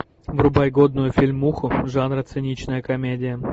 врубай годную фильмуху жанра циничная комедия